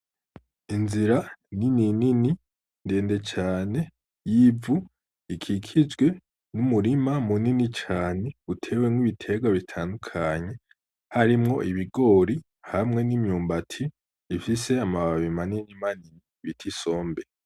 Inzira ninini ndende cane y'ivu ikikijwe y'umurima munini cane uteyemwo ibiterwa bitandukanye, harimwo ibigori hamwe n'imyumbati ifise amababi manini manini ritwa isombe.